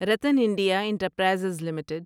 Ratan India enterprises limited